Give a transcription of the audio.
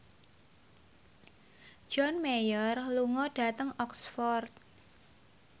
John Mayer lunga dhateng Oxford